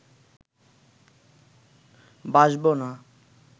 বাসবো না